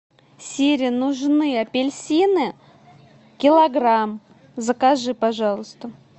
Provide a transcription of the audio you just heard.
сири нужны апельсины килограмм закажи пожалуйста